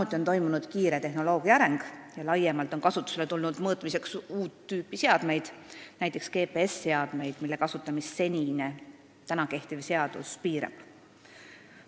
Tehnoloogia on kiiresti arenenud ja laiemalt on kasutusele tulnud uut tüüpi mõõteseadmeid, näiteks GPS-seadmed, mille kasutamist senine kehtiv seadus piirab.